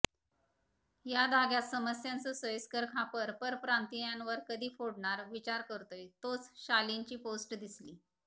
ह्या धाग्यात समस्यांचं सोयीस्कर खापर परप्रांतीयांवर कधी फोडणार विचार करतोय तोच शालिंची पोस्ट दिसली